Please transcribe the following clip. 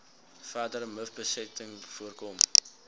verdere mivbesmetting voorkom